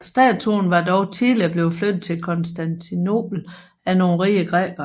Statuen var dog tidligere blevet flyttet til Konstantinopel af nogle rige grækere